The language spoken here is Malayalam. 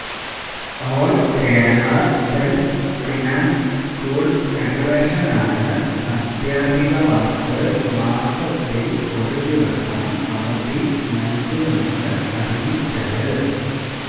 ഓള് കേരള സെല്ഫ് ഫിനാന്സ് സ്കൂള് ഫെഡറേഷനാണ് അധ്യാപികമാര്ക്ക് മാസത്തില് ഒരു ദിവസം അവധി നല്കുമെന്ന് അറിയിച്ചത്